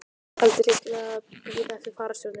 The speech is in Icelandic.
Taldi hyggilegra að bíða eftir fararstjóranum.